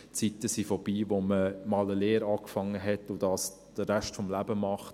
Die Zeiten sind vorbei, in denen man einmal eine Lehre begonnen hat und das den Rest des Lebens macht.